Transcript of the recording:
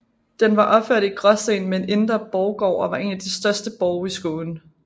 Den var opført i gråsten med en indre borggård og var en af de største borge i Skåne